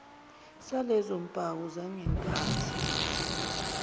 salezo mpawu zangenkathi